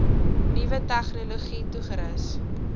nuwe tegnologie toegerus